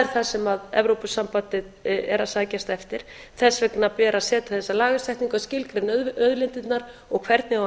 það sem evrópusambandið er að sækjast eftir þess vegna ber að setja þessa lagasetningu að skilgreina auðlindirnar og hvernig á að